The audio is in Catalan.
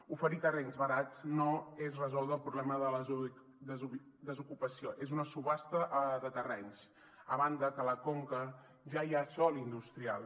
oferir terrenys barats no és resoldre el problema de la desocupació és una subhasta de terrenys a banda que a la conca ja hi ha sòl industrial